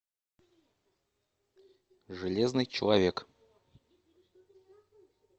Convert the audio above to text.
железный человек